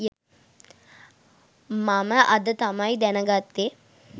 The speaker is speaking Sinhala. මම අද තමයි දැන ගත්තේ